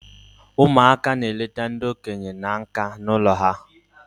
Ụmụaka na-elete ndi okenya na nka in their home